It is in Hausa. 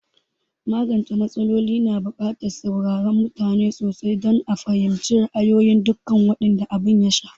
Magance m\atsala na bukatar saurarar mutane sosai don a fahimci ra'ayin dukan waɗanda abin ya shafa